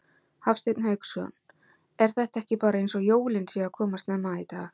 Hafsteinn Hauksson: Er þetta ekki bara eins og jólin séu að koma snemma í dag?